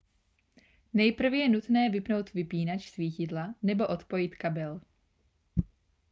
nejprve je nutné vypnout vypínač svítidla nebo odpojit kabel